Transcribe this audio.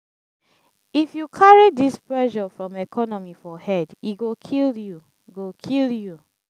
if you carry dis pressure from economy for head e go kill you. go kill you.